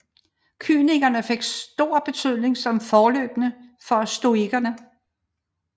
Kynikerne fik stor betydning som forløbere for stoikerne